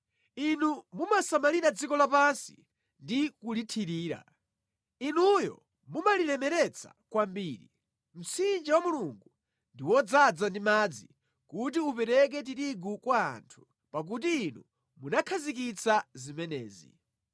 Inu mumasamalira dziko lapansi ndi kulithirira; Inuyo mumalilemeretsa kwambiri. Mtsinje wa Mulungu ndi wodzaza ndi madzi kuti upereke tirigu kwa anthu, pakuti Inu munakhazikitsa zimenezi.